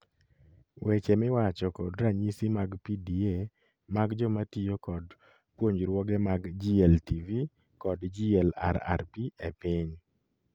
Weche miwacho kod ranyisi mag PDA mag joma tiyo kod puonjruoge mag GLTV kod GLRRP e piny